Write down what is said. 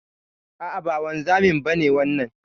A'a ba wanzamin ba ne wannan.